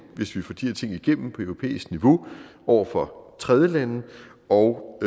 hvis vi får de her ting igennem på europæisk niveau over for tredjelande og